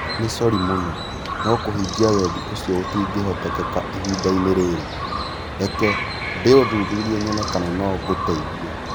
Nĩ sori mũno, no kũhingia wendi ũcio gũtingĩhoteka ihinda-inĩ rĩrĩ. Reke ndĩũthuthurie nyone kana no ngũteithie.